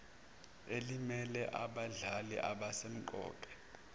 elimele abadlali abasemqoka